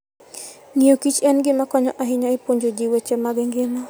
Ng'iyo Kich en gima konyo ahinya e puonjo ji weche mag ngima.